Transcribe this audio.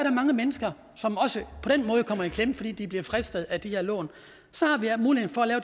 er mange mennesker som også på den måde kommer i klemme fordi de bliver fristet af de her lån så